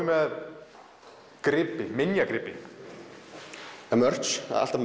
með gripi minjagripi já merch það er alltaf